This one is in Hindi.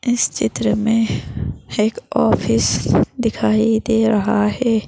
इस चित्र में एक ऑफिस दिखाई दे रहा है।